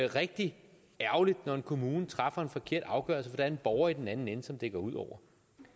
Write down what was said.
rigtig ærgerligt når en kommune træffer en forkert afgørelse for en borger i den anden ende som det går ud over